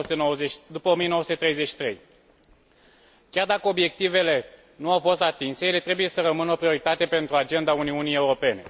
1933. Chiar dacă obiectivele nu au fost atinse, ele trebuie să rămână o prioritate pentru agenda Uniunii Europene.